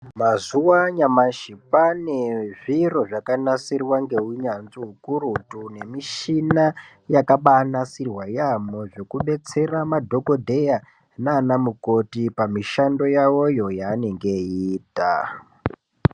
Mazuva anyamashi kwane zviro zvakanasirwa neunyanzvi ukurutu nemushina zvakanasirwa kudetsera madhokodheya nana mukoti pamushando yawoyo yavanenge veita.